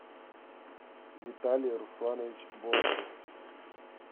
виталий русланович бондырев